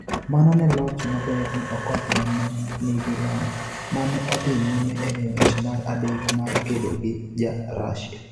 Mano ne en loch maber ne Okoth ma ne nigi lony, ma ne odhi nyime e ng'wech mar adek mar kedo gi Ja-Russia.